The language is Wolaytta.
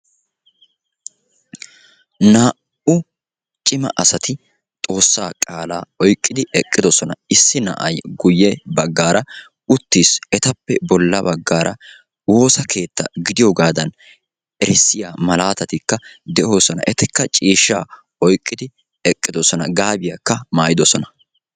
naa"u cima asati xoossaa qaala geshsha oyqidi eqidossona bantta hashiyanikka bootta gaabiya wottidossona eta guyyessankka yelaga attuma naati beettossona.